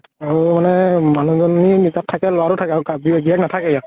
আৰু মানে মানুহ জনী থাকে লʼৰা টো থাকে আৰু গিৰীয়েক নাথাকে ইয়াত।